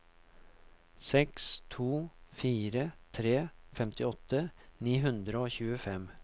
seks to fire tre femtiåtte ni hundre og tjuefem